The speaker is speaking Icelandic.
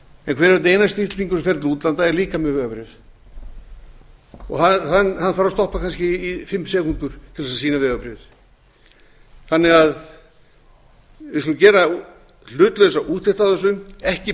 og einasti íslendingur sem fer til útlanda er líka með vegabréf og hann þarf að stoppa kannski í fimm sekúndur til að sýna vegabréfið við skulum gera hlutlausa úttekt á